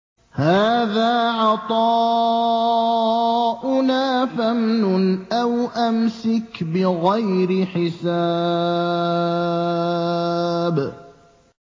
هَٰذَا عَطَاؤُنَا فَامْنُنْ أَوْ أَمْسِكْ بِغَيْرِ حِسَابٍ